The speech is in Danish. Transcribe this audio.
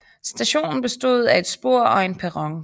Stationen bestod af et spor og en perron